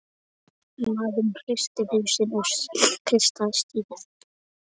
Maðurinn hristi hausinn og kreisti stýrið.